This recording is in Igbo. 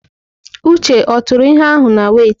Uche ọ tụrụ ihe ahụ na wẹ́itị?